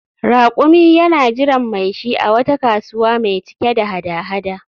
Rakumi yana jiran mai shi a wata kasuwa mai cike da hada-hada